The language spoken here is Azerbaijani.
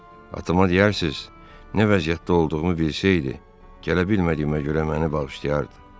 Atama deyərsiz, nə vəziyyətdə olduğumu bilsəydi, gələ bilmədiyimə görə məni bağışlayardı.